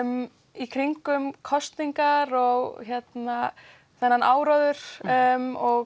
í kringum kosningar og þennan áróður og